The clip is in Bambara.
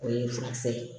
O ye furakisɛ ye